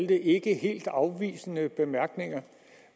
det ikke helt afvisende bemærkninger